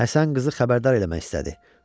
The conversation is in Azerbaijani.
Həsən qızı xəbərdar eləmək istədi.